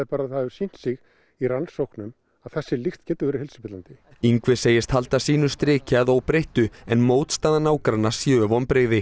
það hefur sýnt sig í rannsóknum að þessi lykt getur verið heilsuspillandi Ingvi segist halda sínu striki að óbreyttu en mótstaða nágranna séu vonbrigði